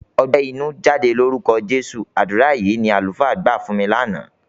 "Ọgbẹ́ inú, jáde lórúkọ Jésù!" Àdúrà yìí ni àlùfáà gbà fún mi lánàá.